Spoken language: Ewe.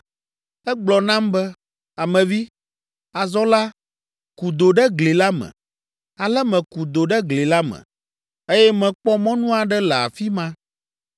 Egblɔ nam be, “Ame vi, azɔ la, ku do ɖe gli la me.” Ale meku do ɖe gli la me, eye mekpɔ mɔnu aɖe le afi ma.